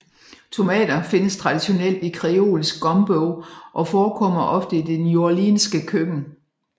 Tomater findes traditionelt i kreolsk gumbo og forekommer ofte i det neworleanske køkken